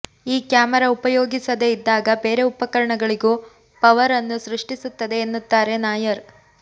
ಈ ಕ್ಯಾಮೆರಾ ಉಪಯೋಗಿಸದೆ ಇದ್ದಾಗ ಬೇರೆ ಉಪಕರಣಗಳಿಗೂ ಪವರ್ ಅನ್ನು ಸೃಷ್ಟಿಸುತ್ತದೆ ಎನ್ನುತ್ತಾರೆ ನಾಯರ್